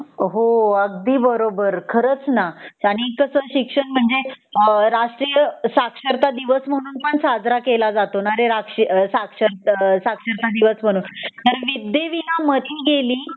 हो अगदी बरोबर खरंच न आणि कस शिक्षण म्हणजे अ राष्ट्रीय साक्षरता दिवस म्हणून साजरा केला जातो न रे आता साक्ष अ साक्षरता दिवस कारण विद्ये विना मती गेली